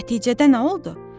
Nəticədə nə oldu?